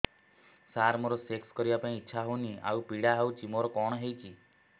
ସାର ମୋର ସେକ୍ସ କରିବା ପାଇଁ ଇଚ୍ଛା ହଉନି ଆଉ ପୀଡା ହଉଚି ମୋର କଣ ହେଇଛି